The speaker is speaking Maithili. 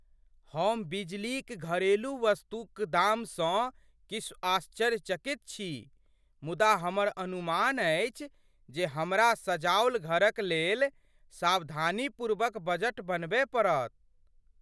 हम बिजलीक घरेलू वस्तुक दामसँ किछु आश्चर्यचकित छी, मुदा हमर अनुमान अछि जे हमरा सजाओल घरक लेल सावधानीपूर्वक बजट बनबय पड़त।